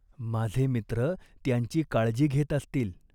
माझे मित्र त्यांची काळजी घेत असतील.